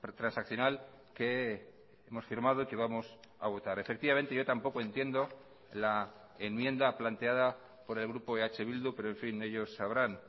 transaccional que hemos firmado y que vamos a votar efectivamente yo tampoco entiendo la enmienda planteada por el grupo eh bildu pero en fin ellos sabrán